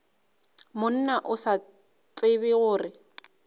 monna o sa tsebe gore